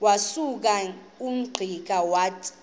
wasuka ungqika wathuma